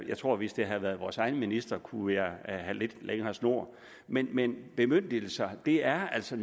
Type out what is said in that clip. jeg tror at hvis det havde været vores egen minister kunne jeg have givet lidt længere snor men men bemyndigelser er altså